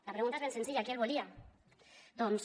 la pregunta és ben senzilla qui el volia doncs